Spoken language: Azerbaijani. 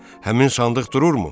Həmin sandıq dururmu?